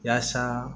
Yaasa